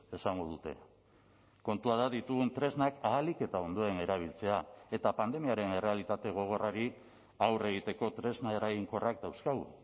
esango dute kontua da ditugun tresnak ahalik eta ondoen erabiltzea eta pandemiaren errealitate gogorrari aurre egiteko tresna eraginkorrak dauzkagu